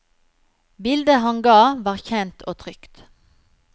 Bildet han ga var kjent og trygt.